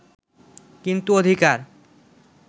কিন্তু অধিকার